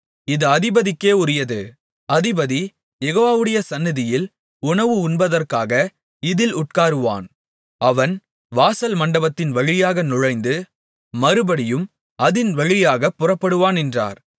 இது அதிபதிக்கே உரியது அதிபதி யெகோவாவுடைய சந்நிதியில் உணவு உண்பதற்காக இதில் உட்காருவான் அவன் வாசல் மண்டபத்தின் வழியாக நுழைந்து மறுபடியும் அதின் வழியாகப் புறப்படுவான் என்றார்